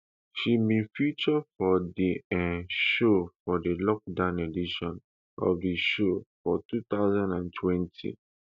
she bin feature for di um show for di lockdown edition of di show for two thousand and twenty